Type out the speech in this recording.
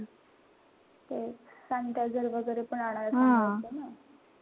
तेच sanitizer वगैरे पण आणायचे